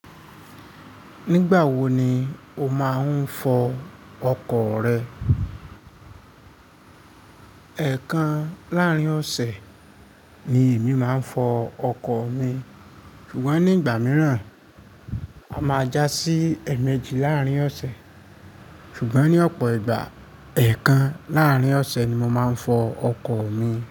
Nígbà wo ni o máa ń fọ ọkọ̀ rẹ? Ẹ̀kan láàrín ọ̀sẹ̀ ni èmi máa ń fọ ọkọ̀ mi, ṣùgbọ́n nígbà mìíràn, a máa já sí èèmejì láàrín ọ̀sẹ̀. Ṣùgbọ́n ní ọ̀pọ̀ ìgbà, ẹ́kan láàrín ọ̀sẹ̀ ni mo máa ń fọ ọkọ̀ mi.